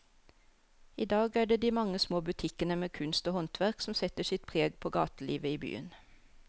I dag er det de mange små butikkene med kunst og håndverk som setter sitt preg på gatelivet i byen.